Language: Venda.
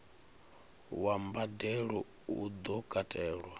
wa mbadelo u do katelwa